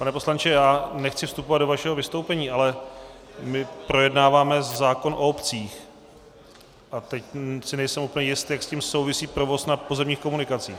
Pane poslanče, já nechci vstupovat do vašeho vystoupení, ale my projednáváme zákon o obcích, a teď si nejsem úplně jistý, jak s tím souvisí provoz na pozemních komunikacích.